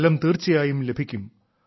ഫലം തീർച്ചയായും ലഭിക്കും